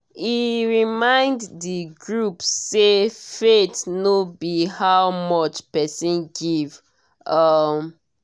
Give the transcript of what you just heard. e remind d group say faith no be how much person give. um